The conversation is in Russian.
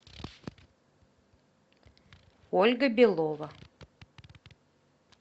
ольга белова